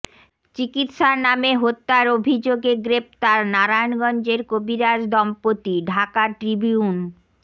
চিকিৎসার নামে হত্যার অভিযোগে গ্রেপ্তার নারায়ণগঞ্জের কবিরাজ দম্পতি ঢাকা ট্রিবিউন